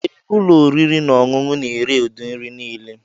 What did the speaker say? Ee, ụlọ oriri na ọṅụṅụ na-ere ụdị nri niile.